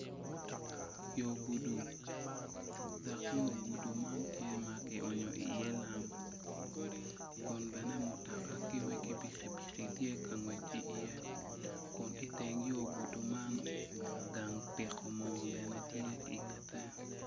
Yo gudo dok yo gudo man tye ma kionyo iye lam kun bene mutoka ki wegi pikipiki tye ka ngwec iye kun bene yo gudo man gang piko mo tye iye.